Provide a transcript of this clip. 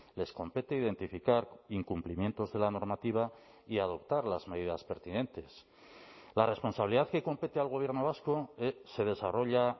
les compete identificar incumplimientos de la normativa y adoptar las medidas pertinentes la responsabilidad que compete al gobierno vasco se desarrolla